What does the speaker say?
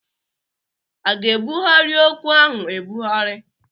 A ga-ebughari okwu ahụ ebughari?